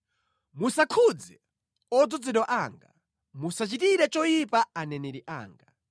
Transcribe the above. “Musakhudze odzozedwa anga; musachitire choyipa aneneri anga.”